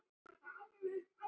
Tala við þig?